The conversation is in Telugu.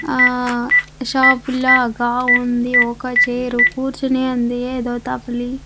ఆ షాప్ లాగా ఉంది. ఒక్క చైర్ కూర్చొని ఉంది. ఏదో తప్లీ --